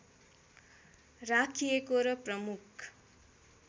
राखिएको र प्रमुख